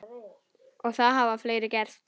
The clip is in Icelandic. Og það hafa fleiri gert.